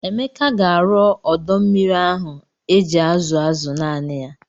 Emeka ga-arụ ọdọ mmiri ahụ eji azụ azụ naanị ya.